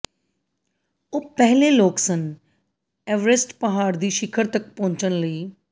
ਉਹ ਪਹਿਲੇ ਲੋਕ ਸਨ ਐਵਰੇਸਟ ਪਹਾੜ ਦੀ ਸਿਖਰ ਤੱਕ ਪਹੁੰਚਣ ਲਈ